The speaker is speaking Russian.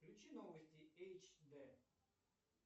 включи новости эйч дэ